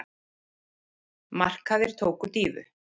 Markaðir tóku dýfu